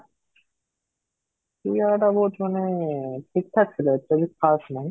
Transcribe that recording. ସେ ଜାଗାଟା ବହୁତ ମାନେ ଠିକ ଠାକ ଥିଲା, actually କିଛି ଖାସ ନାହିଁ